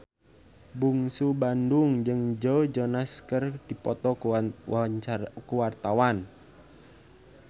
Bungsu Bandung jeung Joe Jonas keur dipoto ku wartawan